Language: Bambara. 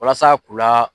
Walasa k'u la